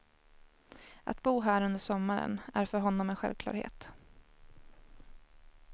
Att bo här under sommaren är för honom en självklarhet.